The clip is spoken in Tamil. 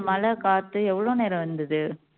மழை காத்து எவ்வளவு நேரம் வந்தது